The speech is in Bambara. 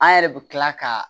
An yɛrɛ bɛ tila ka